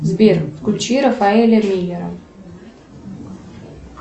сбер включи рафаэля миллера